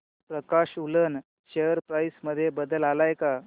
प्रकाश woollen share price मध्ये बदल आलाय का